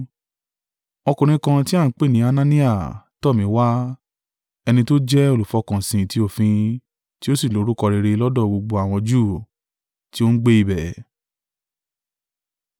“Ọkùnrin kan tí a ń pè ní Anania tọ̀ mí wá, ẹni tó jẹ́ olùfọkànsìn ti òfin, tí ó sì lórúkọ rere lọ́dọ̀ gbogbo àwọn Júù tí ó ń gbé ibẹ̀.